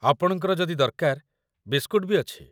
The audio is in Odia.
ଆପଣଙ୍କର ଯଦି ଦରକାର, ବିସ୍କୁଟ୍ ବି ଅଛି ।